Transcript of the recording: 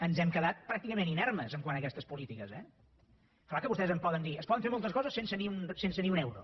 ens hem quedat pràcticament inermes quant a aquestes polítiques eh clar que vostès em poden dir es poden fer moltes coses sense ni un euro